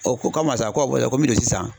O ko ko ko me don sisan